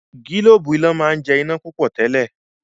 gilobu iná món jẹ iná púpọ tèlé.